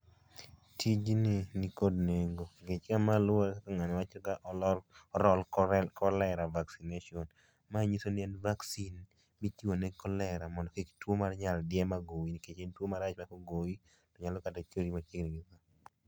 Tijni nikod nengo ,ng'ech ka ma luore ng'ano wacho ka olor, o roll cholera vaccination, ma ngisoni en vaccine mitimo ne cholera mondo kik tuo mar nyaldiema goyi nikech en tuo marach ma kogoyi nyalo kata teri machiegni gi